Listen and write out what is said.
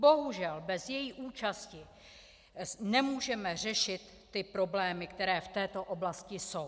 Bohužel bez její účasti nemůžeme řešit ty problémy, které v této oblasti jsou.